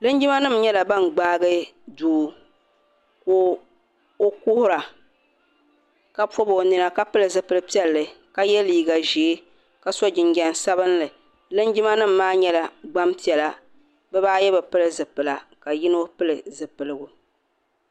Linjima nima nyɛla bini gbaai doo ka o kuhira ka pɔbi o nina ka pili zipili piɛlli ka ye liiga zɛɛ ka so jinjam sabinli linjima nima maa nyɛla gbaŋ piɛlla bi ba ayi bi pili zipila ka yino pili zupiligu.